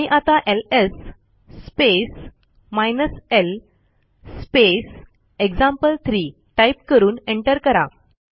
आणि आता LS space hyphen L space example three type करून एंटर करा